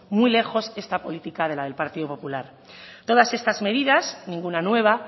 muy lejos esta política de la del partido popular todas estas medidas ninguna nueva